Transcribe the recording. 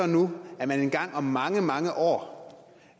nu at man engang om mange mange år